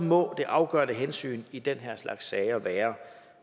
må det afgørende hensyn i den her slags sager være